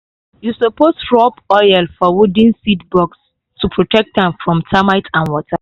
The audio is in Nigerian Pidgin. you suppose rub oil for wooden seed box to protect am from termite and water.